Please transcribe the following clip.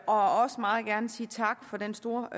og meget gerne sige tak for den store